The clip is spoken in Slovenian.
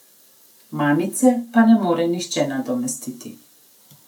Mamice pa ne more nihče nadomestiti.